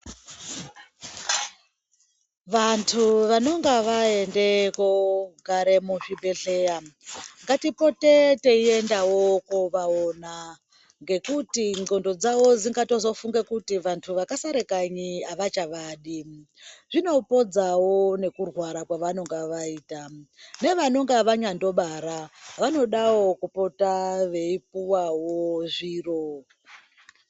Vantu vanonga vaende kogare muzvibhedhleya, ngatipote teiendawo kovaona, ngekuti ndxondo dzavo dzingatazofunga kuti vantu vakasare kanyi havachavadi. Zvinopodzawo nekurwara kwavanonga vaita. Nevanonga vanyandobara vanodawo kupota veipuwavo zviro.